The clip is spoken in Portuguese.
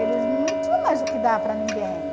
Eles não tinham mais o que dar para ninguém.